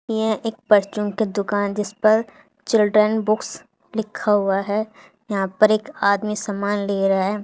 यह एक परचुन की दुकान जिस पर चिल्ड्रन बुक्स लिखा हुआ है यहां पर एक आदमी सामान ले रहा--